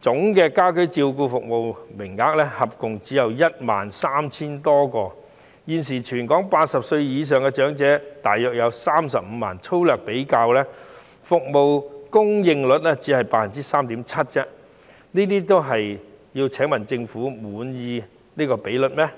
總家居照顧服務名額合共只有 13,000 多個，而現時全港80歲以上長者大約有35萬人，粗略計算，服務供應率只有 3.7%， 請問政府對於這比率又是否滿意呢？